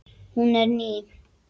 Hún er ný.